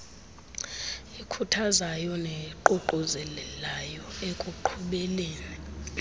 ekhuthazayo neququzelayo ekuqhubeleni